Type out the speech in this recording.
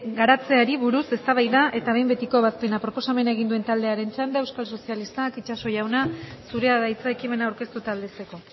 garatzeari buruz eztabaida eta behin betiko ebazpena proposamena egin duen taldearen txanda euskal sozialistak itxaso jauna zurea da hitza ekimena aurkeztu eta aldezteko